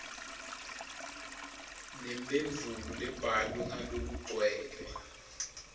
nemphendvulo lebhalwe ngalokugcwele